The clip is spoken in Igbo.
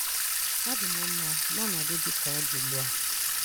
Adịm mma na ọnọdụ dị ka ọ dị ugbu a.